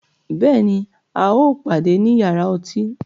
Bẹ́ẹ̀ni, à o pàdẹ̀ ní yàrà ọ̀tí